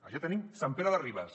allà tenim sant pere de ribes